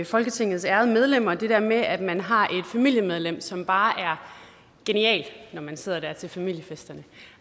folketingets ærede medlemmer det der med at man har et familiemedlem som bare er genialt når man sidder der til familiefesterne